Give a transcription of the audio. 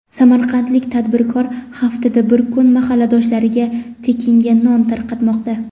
Samarqandlik tadbirkor haftada bir kun mahalladoshlariga tekinga non tarqatmoqda.